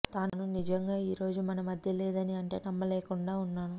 తను నిజంగా ఈరోజు మన మధ్య లేదని అంటే నమ్మలేకుండా ఉన్నాను